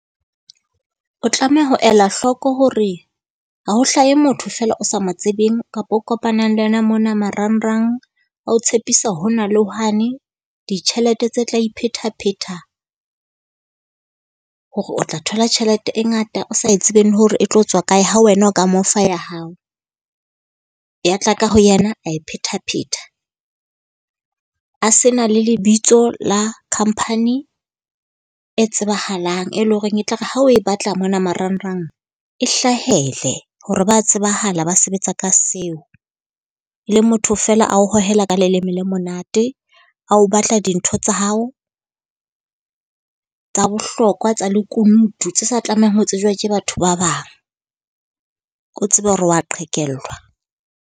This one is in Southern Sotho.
O tlameha ho ela hloko hore ha ho hlahe motho feela o sa mo tsebeng kapa o kopanang le ena mona marangrang a o tshepisa hona le hwane. Ditjhelete tse tla iphetapheta, hore o tla thola tjhelete e ngata o sa etsebeng le hore e tlo tswa kae ha wena o ka mo fa ya hao, ya tla ka ho yena a e pheta-pheta. A se na le lebitso la company e tsebahalang, e le ho reng e tla re ha o e batla mona marangrang e hlahele. Hore ba tsebahala ba sebetsa ka seo, le motho feela a o hohela ka leleme le monate, a o batla dintho tsa hao tsa bohlokwa tsa lekunutu, tse sa tlamehang ho tsejwa ke batho ba bang. O tsebe hore wa qhekellwa.